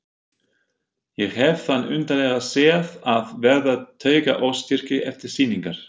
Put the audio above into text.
Ég hef þann undarlega sið að verða taugaóstyrkur eftir sýningar.